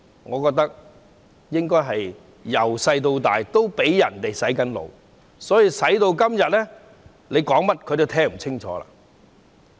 我覺得他們自小已"被洗腦"，所以今天說甚麼都聽不清楚。